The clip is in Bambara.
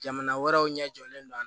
Jamana wɛrɛw ɲɛ jɔlen do a la